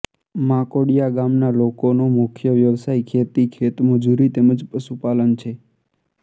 માંકોડીયા ગામના લોકોનો મુખ્ય વ્યવસાય ખેતી ખેતમજૂરી તેમ જ પશુપાલન છે